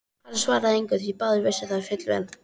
Ari svaraði engu því báðir vissu það fullvel.